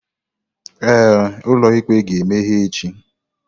Ee, ụlọ ikpe ga-emeghe echi.